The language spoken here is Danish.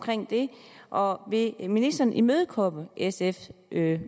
det og vil ministeren imødekomme sfs